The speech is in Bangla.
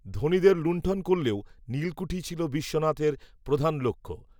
ধনীদের লুন্ঠন করলেও নীলকূঠিই ছিল বিশ্বনাথের প্রধান লক্ষ্য